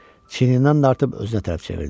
Çiynindən dartıb özünə tərəf çevirdi.